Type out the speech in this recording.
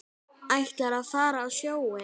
Ætlarðu að fara á sjóinn?